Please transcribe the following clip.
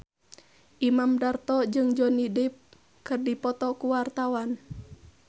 Imam Darto jeung Johnny Depp keur dipoto ku wartawan